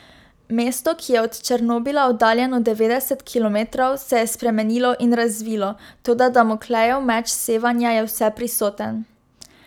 Mesto, ki je od Černobila oddaljeno devetdeset kilometrov, se je spremenilo in razvilo, toda damoklejev meč sevanja je vseprisoten.